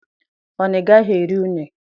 Ọ na igaghi eri une?